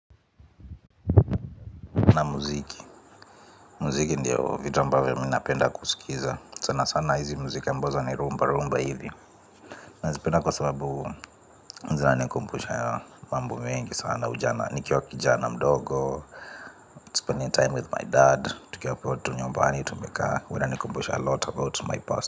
Naam, muziki, muziki ndio vitu ambavyo mi napenda kusikiza. Sana sana hizi muziki ambazo ni rumba rumba hivi. Nazipenda kwa sababu, zinanikumbusha mambo mengi sana nikiwa kijana mdogo, spending time with my dad. Tukiwa hapo tu nyumbani tumekaa, huwa inanikumbusha a lot about my past.